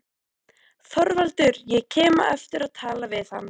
ÞORVALDUR: Ég kem á eftir og tala við hann.